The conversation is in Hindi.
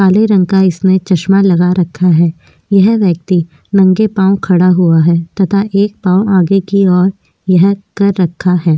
काले रंग का इसने चश्मा लगा रखा है यह व्यक्ति नंगे पाँव खड़ा हुआ है तथा एक पाँव आगे की और यह कर रखा है।